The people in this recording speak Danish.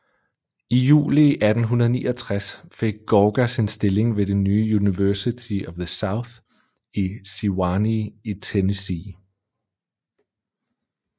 I juli 1869 fik Gorgas en stilling ved det nye University of the South i Sewanee i Tennessee